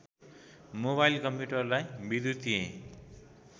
mobile कम्प्युटरलाई विद्युतिय